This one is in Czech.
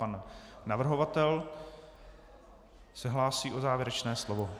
Pan navrhovatel se hlásí o závěrečné slovo.